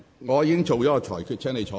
我已就此作出了裁決。